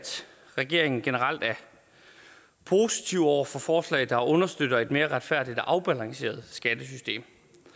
regeringen generelt er positiv over for forslag der understøtter et mere retfærdigt og afbalanceret skattesystem